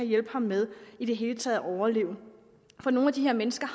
hjælpe ham med i det hele taget at overleve for nogle af de her mennesker